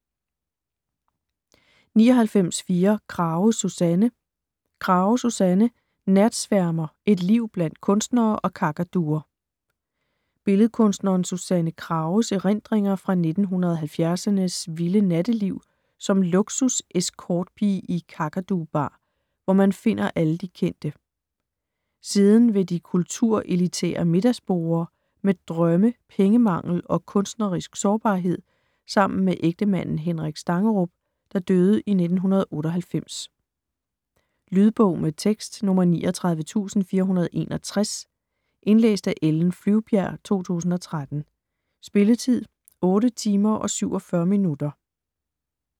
99.4 Krage, Susanne Krage, Susanne: Natsværmer: et liv blandt kunstnere og kakaduer Billedkunstneren Susanne Krages (f. 1946) erindringer fra 1970'ernes vilde natteliv som luksus-escortpige i Kakadu Bar, hvor man finder alle de kendte. Siden ved de kulturelitære middagsborde, med drømme, pengemangel og kunstnerisk sårbarhed sammen med ægtemanden Henrik Stangerup, der døde i 1998. Lydbog med tekst 39461 Indlæst af Ellen Flyvbjerg, 2013. Spilletid: 8 timer, 47 minutter.